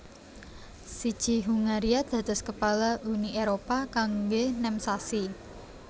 Siji Hungaria dados kepala Uni Éropah kanggé nem sasi